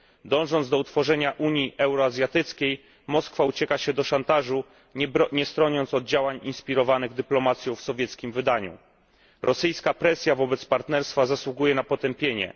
Dążąc do utworzenia Unii Euroazjatyckiej, Moskwa ucieka się do szantażu, nie stroniąc od działań inspirowanych dyplomacją w sowieckim wydaniu. Rosyjska presja wobec Partnerstwa zasługuje na potępienie.